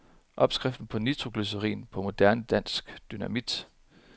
Opskriften på nitroglycerin, på moderne dansk, dynamit.